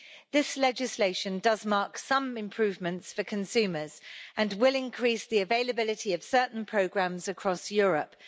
This legislation does mark some improvements for consumers, and will increase the availability of certain programmes across Europe.